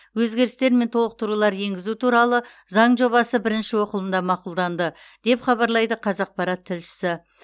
өзгерістер мен толықтырулар енгізу туралы заң жобасы бірінші оқылымда мақұлданды деп хабарлайды қазақпарат тілшісі